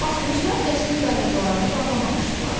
Basqınçılar qəsrin darvazalarını bağlamamışdılar.